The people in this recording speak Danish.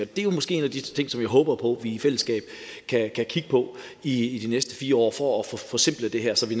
det er jo måske en af de ting som jeg håber på vi i fællesskab kan kigge på i de næste fire år for at få forsimplet det her så vi